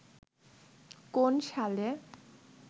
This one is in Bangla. কোন সালে